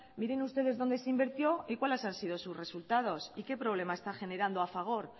miren ustedes dónde se invirtió y cuáles han sido sus resultados y qué problema está generando a fagor